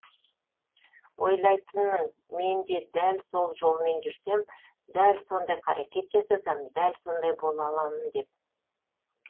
ойлайтынмын мен де дәл сол жолмен жүрсем дәл сондай қарекет жасасам дәл сондай бола аламын деп